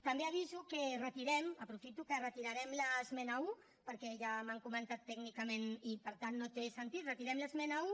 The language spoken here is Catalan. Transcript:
també aviso que retirem aprofito per dir que retirarem l’esmena un perquè ja m’ho han comentat tècnicament i per tant no té sentit retirem l’esmena un